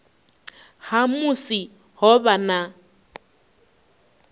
ha musi ho vha na